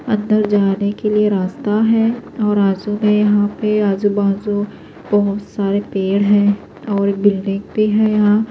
--اندر جانے کے لئے راستہ ہیں اورآزو میں یہاں پہ آزو بازو بہت سارے پیڈ ہیں اور بلڈنگ بھی ہیں یحیٰ